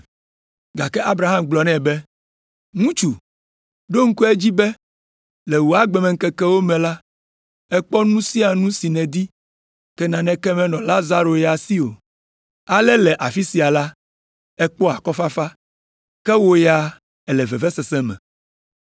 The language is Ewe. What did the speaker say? “Gake Abraham gblɔ nɛ be, ‘Ŋutsu, ɖo ŋku edzi be le wò agbemeŋkekewo me la, èkpɔ nu sia nu si nèdi, ke naneke menɔ Lazaro ya si o. Ale le afi sia la, ekpɔ akɔfafa, ke wò ya èle vevesese me.